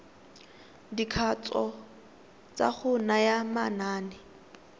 dikatso tsa go naya manane